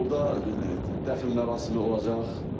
Orda dəfn mərasimi olacaq.